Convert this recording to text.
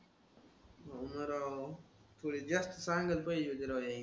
हो ना राव. तू हे just सांगायला पाहिजे होतं राव हे.